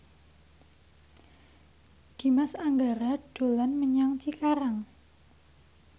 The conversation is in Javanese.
Dimas Anggara dolan menyang Cikarang